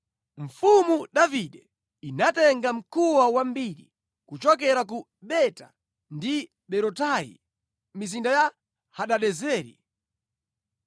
Mfumu Davide inatenga mkuwa wambiri kuchokera ku Beta ndi Berotai, mizinda ya Hadadezeri.